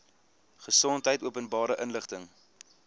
gesondheid openbare inligting